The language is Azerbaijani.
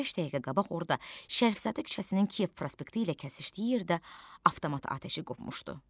15 dəqiqə qabaq orda Şərifzadə küçəsinin Kiyev prospekti ilə kəsişdiyi yerdə avtomat atəşi qopmuşdu.